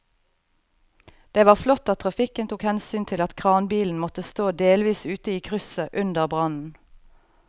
Det var flott at trafikken tok hensyn til at kranbilen måtte stå delvis ute i krysset under brannen.